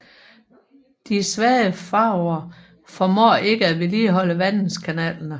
De svage faraoer formår ikke at vedligeholde vandingskanalerne